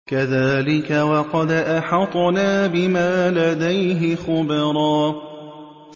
كَذَٰلِكَ وَقَدْ أَحَطْنَا بِمَا لَدَيْهِ خُبْرًا